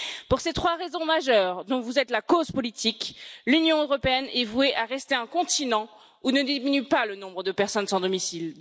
Pour ces trois raisons majeures dont vous êtes la cause politique, l'Union européenne est vouée à rester un continent où ne diminue pas le nombre de personnes sans domicile.